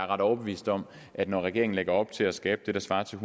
ret overbevist om at når regeringen lægger op til at skabe det der svarer til